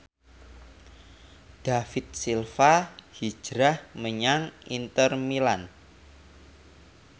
David Silva hijrah menyang Inter Milan